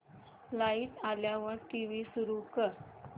light आल्यावर TV सुरू कर